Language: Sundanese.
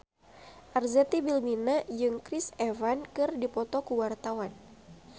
Arzetti Bilbina jeung Chris Evans keur dipoto ku wartawan